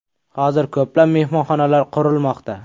Hozir ko‘plab mehmonxonalar qurilmoqda.